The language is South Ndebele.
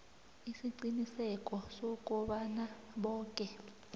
isiqiniseko sokobana boke